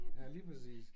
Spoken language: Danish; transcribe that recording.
Ja lige præcis